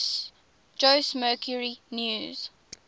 jose mercury news